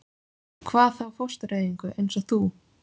Hvað þá fóstureyðingu- eins og þú.